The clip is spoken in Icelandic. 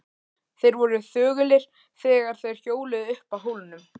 Þeir voru þögulir þegar þeir hjóluðu upp að hólnum.